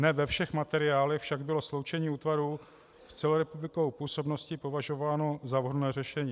Ne ve všech materiálech však bylo sloučení útvarů s celorepublikovou působností považováno za vhodné řešení.